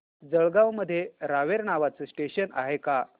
जळगाव मध्ये रावेर नावाचं स्टेशन आहे का